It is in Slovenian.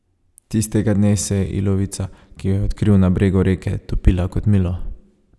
Tistega dne se je ilovica, ki jo je odkril na bregu reke, topila kot milo.